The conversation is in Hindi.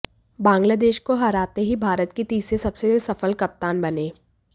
बांग्लादेश को हराते ही भारत के तीसरे सबसे सफल कप्तान बने